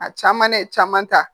A caman ne caman ta